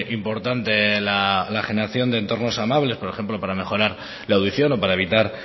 importante la generación de entornos amables por ejemplo para mejorar la audición o para evitar